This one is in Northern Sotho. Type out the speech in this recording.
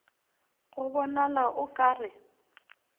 go bonala o ka re